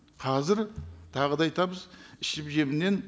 қазір тағы да айтамыз ішіп жемнен